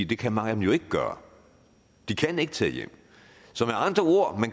det kan mange af dem ikke gøre de kan ikke tage hjem så med andre ord